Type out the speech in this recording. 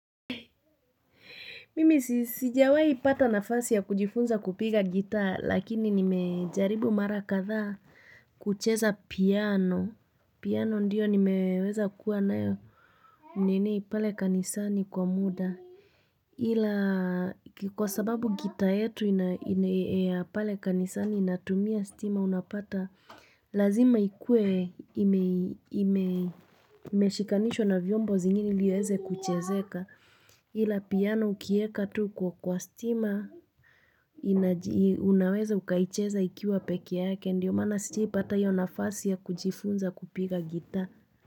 Mimi sijawahi pata nafasi ya kujifunza kupiga gitaa lakini nimejaribu mara kadhaa kucheza piano. Piano ndio nimeweza kuwa nayo nini pale kanisani kwa muda. Ila kwa sababu gitaa yetu ina ya pale kanisani inatumia stima unapata Lazima ikue imeshikanishwa na vyombo zingine ili iweze kuchezeka ila piano ukiieka tu kwa stima unaweza ukaicheza ikiwa peke yake ndiyo maana sijawahi pata hiyo nafasi ya kujifunza kupiga gitaa.